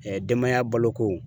Ɛɛ denbaya baloko